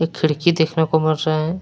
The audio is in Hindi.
खिड़की देखने को मिल रहे है।